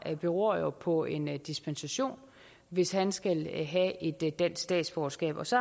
jo beror på en dispensation hvis han skal have et et dansk statsborgerskab og så